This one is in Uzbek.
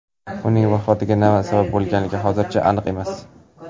Uning vafotiga nima sabab bo‘lgani hozircha aniq emas.